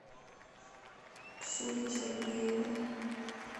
ксюхе сергеевой